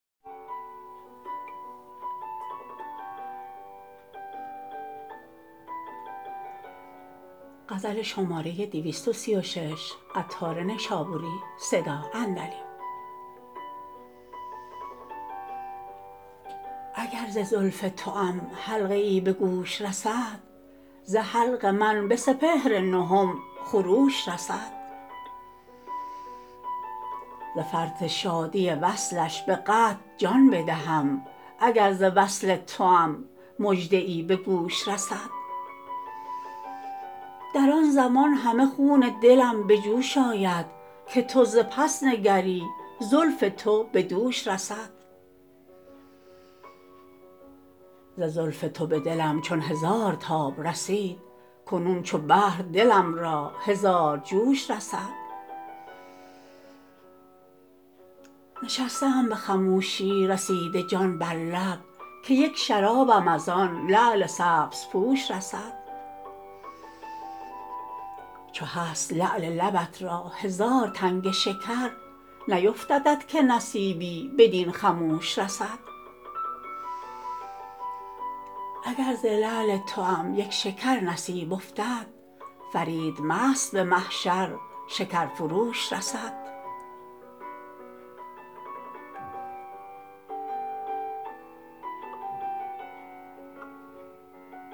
اگر ز زلف توام حلقه ای به گوش رسد ز حلق من به سپهر نهم خروش رسد ز فرط شادی وصلش به قطع جان بدهم اگر ز وصل توام مژده ای به گوش رسد در آن زمان همه خون دلم به جوش آید که تو ز پس نگری زلف تو به دوش رسد ز زلف تو به دلم چون هزار تاب رسید کنون چو بحر دلم را هزار جوش رسد نشسته ام به خموشی رسیده جان بر لب که یک شرابم از آن لعل سبزپوش رسد چو هست لعل لبت را هزار تنگ شکر نیفتدت که نصیبی بدین خموش رسد اگر ز لعل توام یک شکر نصیب افتد فرید مست به محشر شکر فروش رسد